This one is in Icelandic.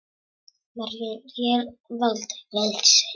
Maður réð varla við sig.